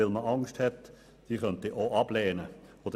Weil man Angst hat, dass sie abgelehnt werden könnte.